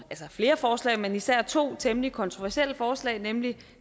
flere forslag men især to temmelig kontroversielle forslag nemlig